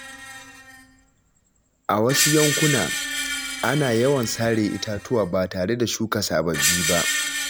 A wasu yankuna, ana yawan sare itatuwa ba tare da shuka sababbi ba.